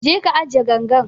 Je ka ajiye gangan nan